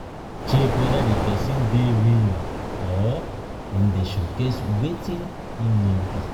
Check whether di persin de real or im de showcase wetin him no be